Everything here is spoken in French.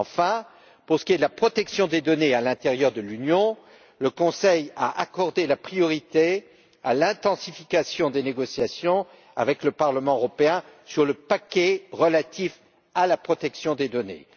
Enfin, pour ce qui est de la protection des données à l'intérieur de l'Union, le Conseil a accordé la priorité à l'intensification des négociations avec le Parlement européen sur le paquet relatif à la protection des données.